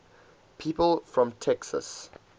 people from texas